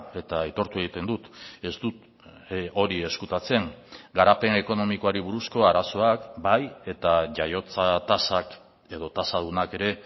eta aitortu egiten dut ez dut hori ezkutatzen garapen ekonomikoari buruzko arazoak bai eta jaiotza tasak edo tasadunak ere